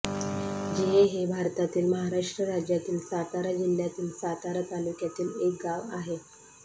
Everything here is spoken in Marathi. जिहे हे भारतातील महाराष्ट्र राज्यातील सातारा जिल्ह्यातील सातारा तालुक्यातील एक गाव आहे